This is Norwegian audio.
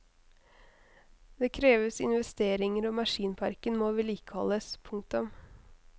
Det kreves investeringer og maskinparken må vedlikeholdes. punktum